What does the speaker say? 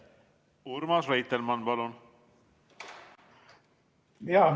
Urmas Reitelmann, palun!